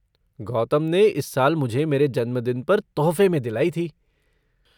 गौतम ने इस साल मुझे मेरे जन्मदिन पर तोहफ़े में दिलाई थी।